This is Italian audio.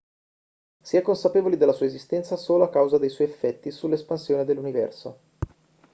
si è consapevoli della sua esistenza solo a causa dei suoi effetti sull'espansione dell'universo